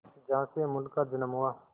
जहां से अमूल का जन्म हुआ